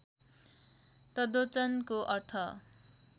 तद्वचनको अर्थ